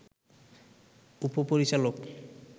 উপ-পরিচালক